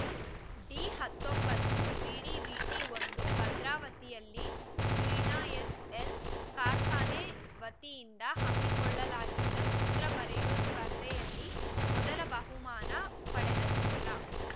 D ಹತ್ತೊಂಬತ್ತು ಬಿಡಿವಿಟಿ ಒಂದು ಭದ್ರಾವತಿಯಲ್ಲಿ ವೀಣಾ ಎಸ್‌ಎಲ್‌ ಕಾರ್ಖಾನೆ ವತಿಯಿಂದ ಹಮ್ಮಿಕೊಳ್ಳಲಾಗಿದ್ದ ಚಿತ್ರ ಬರೆಯುವ ಸ್ಪರ್ಧೆಯಲ್ಲಿ ಮೊದಲ ಬಹುಮಾನ ಪಡೆದ ಚಿತ್ರ